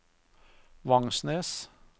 Vangsnes